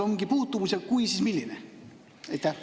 Kas seal on puutumus ja kui, siis milline?